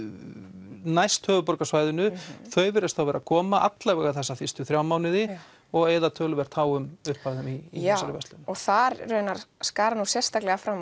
næst höfuðborgarsvæðinu þau virðast vera að koma allavega þessa fyrstu þrjá mánuði og eyða töluvert háum upphæðum í þessari verslun já og þar raunar skara nú sérstaklega